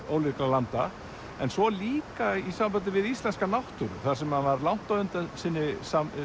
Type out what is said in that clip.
ólíkra landa en svo líka í sambandi við íslenska náttúru þar sem hann var langt á undan sinni